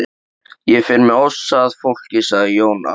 Ég fer með ofsa að fólki, sagði Jón Arason.